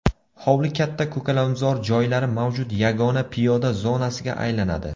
Hovli katta ko‘kalamzor joylari mavjud yagona piyoda zonasiga aylanadi.